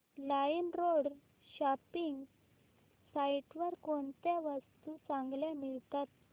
LimeRoad shopping site वर कोणत्या वस्तू चांगल्या मिळतात